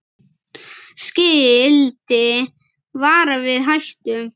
Skilti varar við hættum.